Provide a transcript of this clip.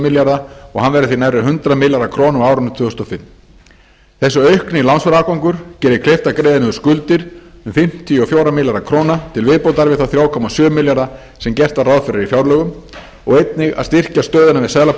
milljarða og hann verði því nærri hundrað milljarða króna á árinu tvö þúsund og fimm þessi aukni lánsfjárafgangur gerir kleift að greiða niður skuldir um fimmtíu og fjóra milljarða króna til viðbótar við þá þrjá komma sjö milljarða sem gert var ráð fyrir í fjárlögum og einnig að styrkja stöðuna við